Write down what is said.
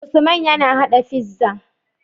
Usman yAna hada pizza